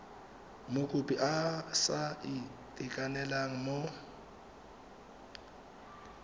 mokopi a sa itekanela mo